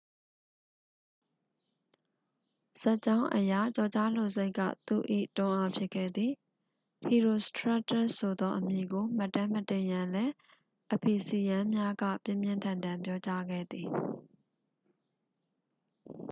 ဇာတ်ကြောင်းအရ ကျော်ကြားလိုစိတ်က သူ့၏ တွန်းအားဖြစ်ခဲ့သည် ဟီရိုစထရက်တက်စ်ဆိုသောအမည်ကို မှတ်တမ်းမတင်ရန်လည်း အဖီဆီယန်းများက ပြင်းပြင်းထန်ထန် ပြောကြားခဲ့သည်